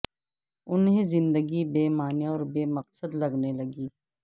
انھیں زندگی بے معنی اور بے مقصد لگنے لگے